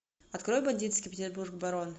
открой бандитский петербург барон